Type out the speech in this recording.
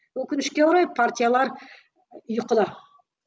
өкінішке орай партиялар ұйқыда